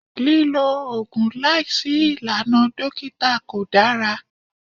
Lílo Ògùn láìsí ìlànà dókítà kò dára.